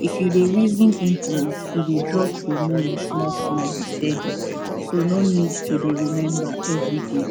if you dey reason implant e dey drop hormone smallsmall steady so no need to dey remember every day